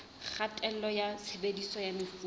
kgatello ya tshebediso ya mefuta